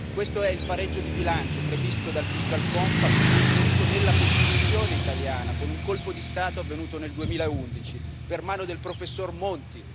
Questo è il pareggio di bilancio previsto dal fiscal compact e inserito nella Costituzione italiana con un colpo di Stato avvenuto nel 2011, per mano del professor Monti.